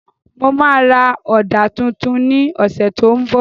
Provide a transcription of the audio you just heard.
Mo ma ra Ọ̀dà tuntun ní ọ̀sẹ̀ tó ń bọ̀